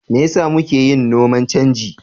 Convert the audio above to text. Me yasa muke yin noman canji?